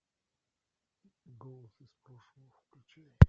голос из прошлого включай